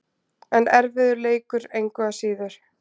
En erfiður leikur, engu að síður.